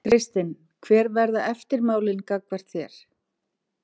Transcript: Kristinn: Hver verða eftirmálin gagnvart þér?